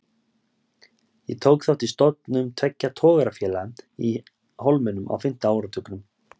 Ég tók þátt í stofnun tveggja togarafélaga í Hólminum á fimmta áratugnum.